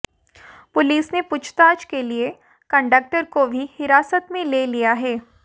police ने पूछताछ के लिए कंडक्टर को भी हिरासत में ले लिया है